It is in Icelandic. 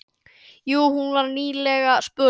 Jú, hún var nýlega spurð.